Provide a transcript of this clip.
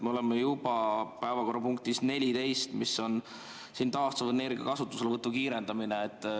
Me oleme juba päevakorrapunktis 14, mis on taastuvenergia kasutuselevõtu kiirendamine.